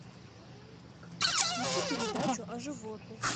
включи передачу о животных